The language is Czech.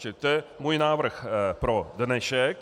Čili to je můj návrh pro dnešek.